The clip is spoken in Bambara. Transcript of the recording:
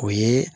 O ye